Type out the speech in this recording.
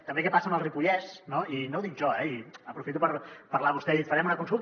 també què passa amb el ripollès no i no ho dic jo eh aprofito per parlar vostè ha dit farem una consulta